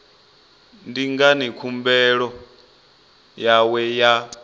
ndi ngani khumbelo yawe ya